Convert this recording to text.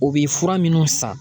O bɛ fura minnu san